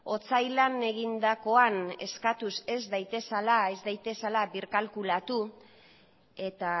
otsailean egindakoan eskatuz ez daitezela birkalkulatu eta